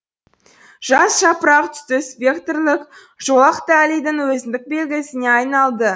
жас жапырақ түсті спектрлік жолақ таллийдің өзіндік белгісіне айналды